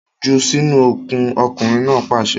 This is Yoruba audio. Jù sínú okùn! ọkunrin naa paṣẹ